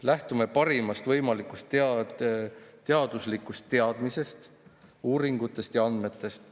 Lähtume parimast võimalikust teaduslikust teadmisest, uuringutest ja andmetest.